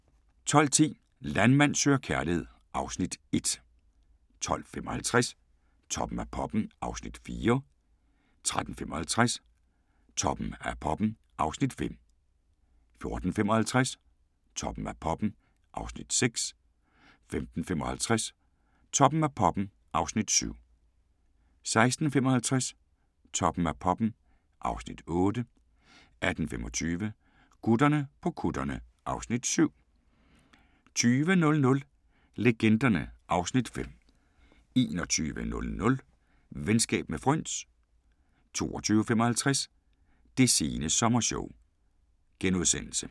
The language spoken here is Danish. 12:10: Landmand søger kærlighed (Afs. 1) 12:55: Toppen af poppen (Afs. 4) 13:55: Toppen af poppen (Afs. 5) 14:55: Toppen af poppen (Afs. 6) 15:55: Toppen af poppen (Afs. 7) 16:55: Toppen af poppen (Afs. 8) 18:25: Gutterne på kutterne (Afs. 7) 20:00: Legenderne (Afs. 5) 21:00: Venskab med fryns 22:55: Det sene sommershow *